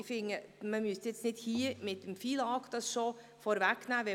Ich finde, dies müsse hier nicht mit dem FILAG vorweggenommen werden.